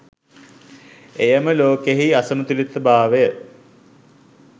එයම ලෝකයෙහි අසමතුලිතභාවය